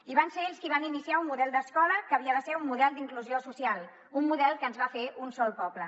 i van ser ells qui van iniciar un model d’escola que havia de ser un model d’inclusió social un model que ens va fer un sol poble